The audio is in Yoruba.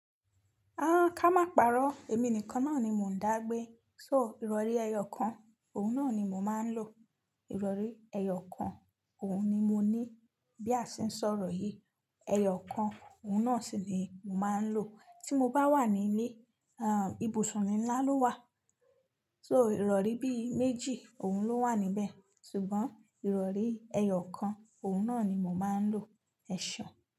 Ah, ká má parọ́. Èmi nìkan náà ni mo ń dá gbé. So ìrọ̀rí ẹyọ kan, òun náà ni mo máa ń lò. Ìrọ̀rí ẹyọ kan, òun ni mo ní. Bí a ṣe ń sọ̀rọ̀ yìí, ẹyọ kan, òun náà sì ni mo máa ń lò. Tí mo bá wà ní ilé, ah ibùsùn ni nlá ló wà. So ìrọ̀rí bí i méjì, òun ló wà níbẹ̀. Ṣùgbọ́n ìrọ̀rí ẹyọ kan, òun náà ni mo máa ń lò. Ẹ̀ṣọ́.